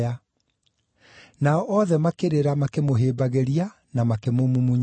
Nao othe makĩrĩra makĩmũhĩmbagĩria na makĩmũmumunya.